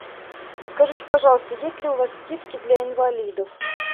расскажите пожалуйста есть ли у вас скидки для инвалидов